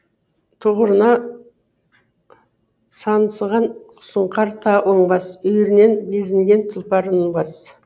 тұғырына саңсыған сұңқар та оңбас үйірінен безінген тұлпарын оңбас